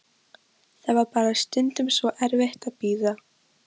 Það var bara stundum svo erfitt að bíða.